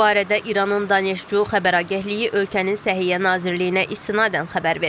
Bu barədə İranın Daneşcu xəbər agentliyi ölkənin Səhiyyə Nazirliyinə istinadən xəbər verib.